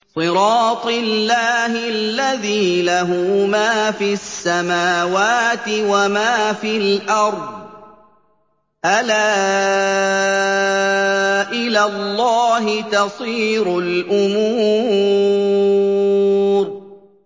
صِرَاطِ اللَّهِ الَّذِي لَهُ مَا فِي السَّمَاوَاتِ وَمَا فِي الْأَرْضِ ۗ أَلَا إِلَى اللَّهِ تَصِيرُ الْأُمُورُ